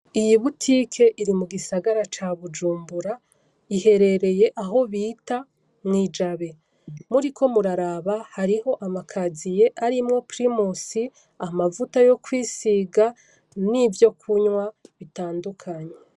Iyi butike iri mu gisagara ca Bujumbura, iherereye aho bita mw'i Jabe. Muriko muraraba hariho amakaziye arimwo pirimusi, amavuta yo kwisiga, n'ivyo kunywa bitandukanye.